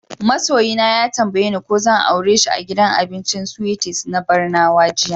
Ma soyi na ya tambaye ni ko zan aure shi a gidan abincin Sweeties na Barnawa jiya.